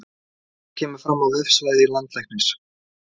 Þetta kemur fram á vefsvæði Landlæknis